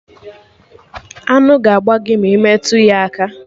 Aṅụ ga-agba gị ma ị metụ ya aka